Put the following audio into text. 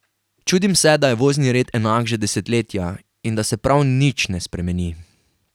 Čudim se, da je vozni red enak že desetletja in da se prav nič ne spremeni.